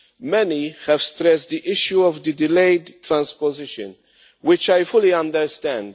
Many have stressed the issue of the delayed transposition, which I fully understand.